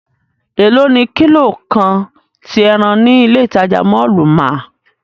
Elo ni kilo kan ti ẹran ni ile itaja mọllu máa?